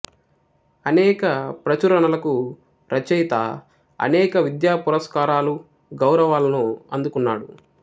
అనేక ప్రచురణలకు రచయిత అనేక విద్యా పురస్కారాలు గౌరవాలను అందుకున్నాడు